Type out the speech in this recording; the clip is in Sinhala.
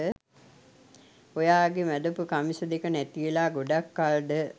ඔයාගෙ මැදපු කමිස දෙක නැතිවෙලා ගොඩක් කල්ද?